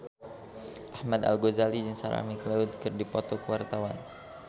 Ahmad Al-Ghazali jeung Sarah McLeod keur dipoto ku wartawan